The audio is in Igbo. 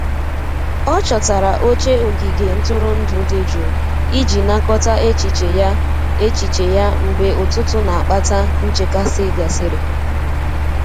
Ọ chọtara oche ogige ntụrụndụ dị jụụ iji nakọta echiche ya echiche ya mgbe ụtụtụ n'akpata nchekasị gasịrị.